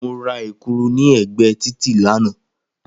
Mo ra Èkuru ni ègbée títì lánàá